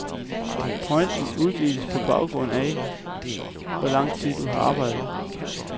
Point uddeles på baggrund af, hvor lang tid du har arbejdet.